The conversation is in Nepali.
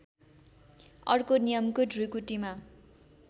अर्को नियमको ढुकुटीमा